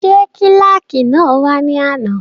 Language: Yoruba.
Ṣé kílàkì náà wá ní àná?